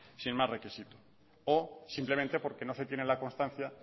sin más requisitos o simplemente porque no se tiene la constancia